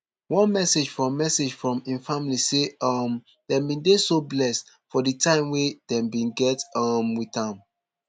one message from message from im family say um dem bin dey so blessed for di time wey dem bin get um wit am